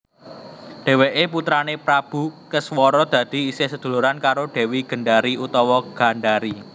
Dheweké putrané Prabu Keswara dadi isih seduluran karo Dewi Gendari/Gandari